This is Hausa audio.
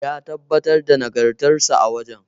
Ya tabbatar da nagartarsa a wajen.